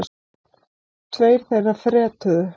Tveir þeirra fretuðu.